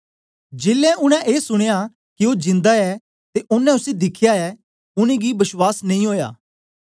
जेलै उनै ए सुनया के ओ जिन्दा ऐ ते ओनें उसी दिखया ऐ उनेंगी बश्वास नेई ओया